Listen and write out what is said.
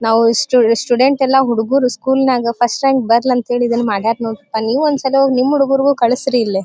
ನಾವು student student ಎಲ್ಲಾ ಹುಡುಗರು ಸ್ಕೂಲ್ನಾಗ ಫಸ್ಟ್ ರಾಂಕ್ ಬರ್ಲಾಂತೆಳಿ ಇವೆಲ್ಲ ಮಾಡರೆ ನೋಡ್ರಿ ಅಲ್ಲಿ ನೀವು ಒಂದ್ಸಲ ಹೋಗಿ ನಿಮ್ ಹುಡುಗರಿಗೆ ಕಳ್ಸ್ರಿ ಇಲ್ಲಿ.